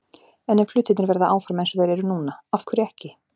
En ef hlutirnir verða áfram eins og þeir eru núna- af hverju ekki?